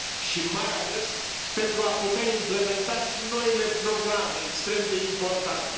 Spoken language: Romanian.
și mai ales, pentru a putea implementa și noile programe extrem de importante.